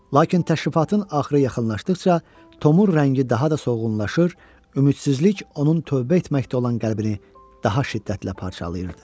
Lakin təşrifatın axırı yaxınlaşdıqca Tomun rəngi daha da solğunlaşır, ümidsizlik onun tövbə etməkdə olan qəlbini daha şiddətlə parçalayırdı.